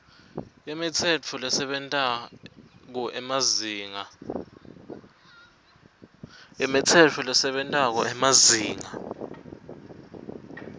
imitsetfo lesebentako emazinga